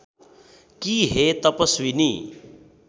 कि हे तपस्विनी